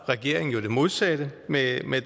regeringen jo det modsatte med